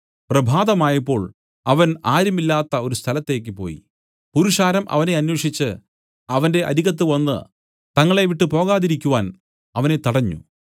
പ്രഭാതമായപ്പോൾ അവൻ ആരും ഇല്ലാത്ത ഒരു സ്ഥലത്തേയ്ക്ക് പോയി പുരുഷാരം അവനെ അന്വേഷിച്ച് അവന്റെ അരികത്തുവന്ന് തങ്ങളെ വിട്ടു പോകാതിരിക്കുവാൻ അവനെ തടഞ്ഞു